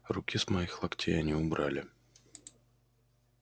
руки с моих локтей они убрали